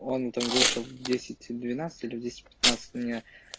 он там вышел в десять двенадцать или в десять пятнадцать у меня